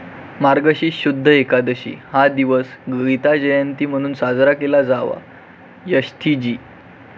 मार्गशीर्ष शुद्ध एकदशी हा दिवस गीताजयंती म्हणून साजरा केला जावा, यशथी जी.